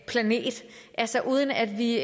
planet altså uden at vi